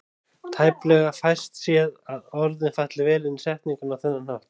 Tæplega fæst séð að orðin falli vel inn í setninguna á þennan hátt.